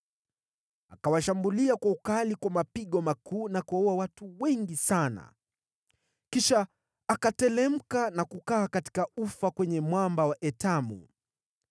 Akawashambulia kwa ukali kwa mapigo makuu na kuwaua watu wengi sana. Kisha akateremka na kukaa katika ufa kwenye mwamba wa Etamu.